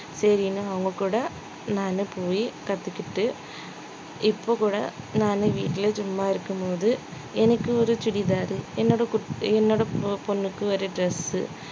சரின்னு அவங்க கூட நான் போயி கத்துக்கிட்டு இப்ப கூட நானு வீட்டுல சும்மா இருக்கும்போது எனக்கு ஒரு chudithar என்னோட குட்~ என்னோட பொ~ பொண்ணுக்கு ஒரு dress